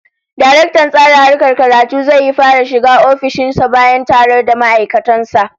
Daraktan Tsara Harkar Karatu zai yi fara shiga ofishin sa bayan taro da ma'aikatan sa